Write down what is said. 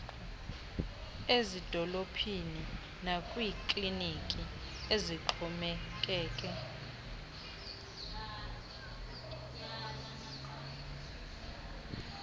ezidolophini nakwiikliniki ezixhomekeke